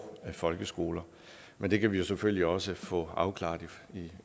folkeskoler men det kan vi selvfølgelig også få afklaret